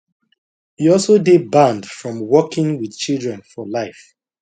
e also dey banned from working wit children for life